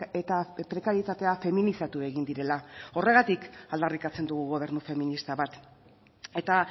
eta prekarietatea feminizatu egin direla horregatik aldarrikatzen dugu gobernu feminista bat eta